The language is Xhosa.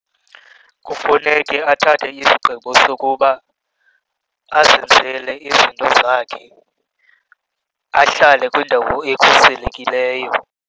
Kufuneke athathe isigqibo sokuba azenzele izinto zakhe, ahlale kwindawo ekhuselekileyo.